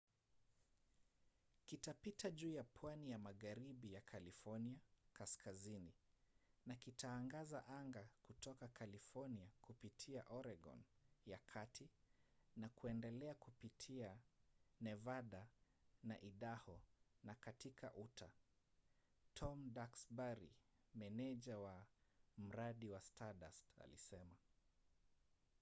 kitapita juu ya pwani ya magharibi ya california kaskazini na kitaangaza anga kutoka california kupitia oregon ya kati na kuendelea kupitia nevada na idaho na katika utah tom duxbury meneja wa mradi wa stardust alisema